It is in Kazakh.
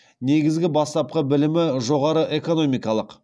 негізгі бастапқы білімі жоғары экономикалық